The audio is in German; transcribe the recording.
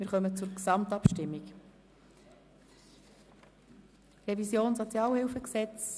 Wir kommen zur Gesamtabstimmung über die SHG-Revision